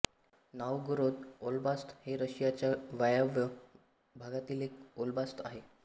Novgorod oblast हे रशियाच्या वायव्य भागातील एक ओब्लास्त आहे